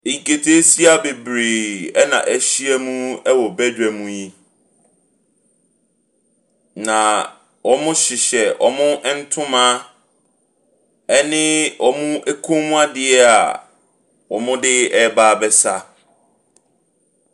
Nkataasia bebree na ahyia mu wɔ badwam yi. Na wɔhyehyɛ wɔn ntoma ne wɔn kɔn mu adeɛ a wɔde ɛreba abɛsa.